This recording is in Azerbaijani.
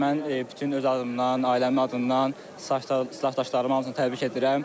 Mən bütün öz adımdan, ailəmin adından, stajdaşlarımın hamısını təbrik edirəm.